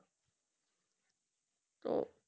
তো